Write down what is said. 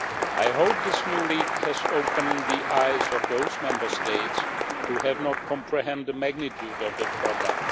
I hope this new leak has opened the eyes of those Member States who had not comprehended the magnitude of the problem.